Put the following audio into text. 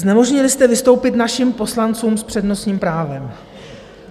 Znemožnili jste vystoupit našim poslancům s přednostním právem.